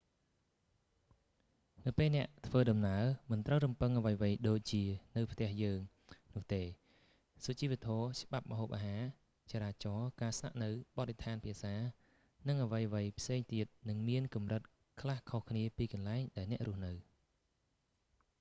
នៅពេលអ្នកធ្វើដំណើរ មិនត្រូវរំពឹងអ្វីៗដូចជា នៅផ្ទះយើង នោះទេ សុជីវធម៌ ច្បាប់ ម្ហូបអាហារ ចរាចរណ៍ ការស្នាក់នៅ បទដ្ឋាន ភាសា និងអ្វីៗផ្សេងទៀតនឹងមានកម្រិតខ្លះខុសគ្នាពីកន្លែងដែលអ្នករស់នៅ